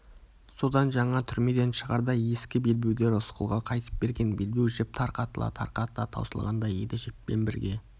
содан жаңа түрмеден шығарда ескі белбеуді рысқұлға қайтып берген белбеу жіп тарқатыла-тарқатыла таусылғандай еді жіппен бірге